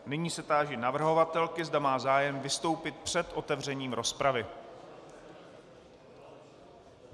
Nyní se táži navrhovatelky, zda má zájem vystoupit před otevřením rozpravy.